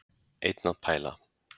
Einn að pæla.